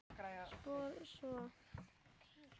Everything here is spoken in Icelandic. Spyr svo